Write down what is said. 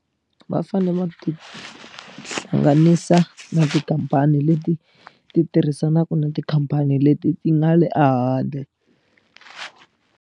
Va fanele va ti hlanganisa na tikhampani leti ti tirhisanaka na tikhampani leti ti nga le a handle.